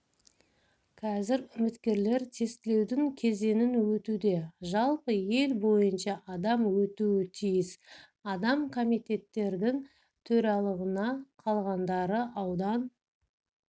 қазір үміткерлер тестілеудің кезеңін өтуде жалпы ел бойынша адам өтуі тиіс адам комитеттердің төрағалығына қалғандары аудан